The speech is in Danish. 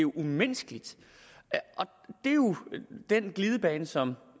umenneskeligt det er jo den glidebane som